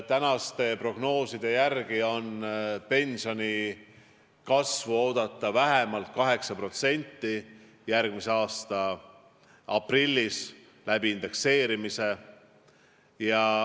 Tänaste prognooside järgi on järgmise aasta aprillis indekseerimise teel oodata pensioni kasvu vähemalt 8%.